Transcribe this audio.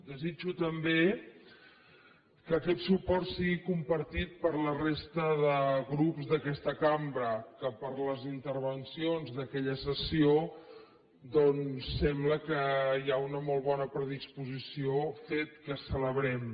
desitjo també que aquest suport sigui compartit per la resta de grups d’aquesta cambra que per les intervencions d’aquella sessió doncs sembla que hi ha una molt bona predisposició fet que celebrem